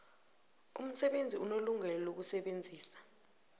umsebenzi unelungelo lokusebenzisa